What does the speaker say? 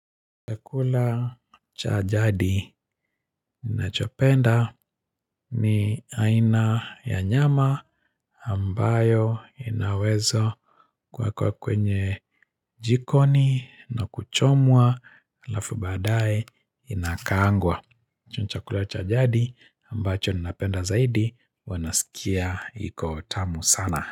Chakula cha jadi ninachopenda ni aina ya nyama ambayo inaweza kuekwa kwenye jikoni na kuchomwa halafu baadae inakaangwa. Chakula cha jadi ambacho ninapenda zaidi huwa nasikia iko tamu sana.